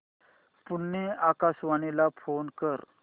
पुणे आकाशवाणीला फोन कर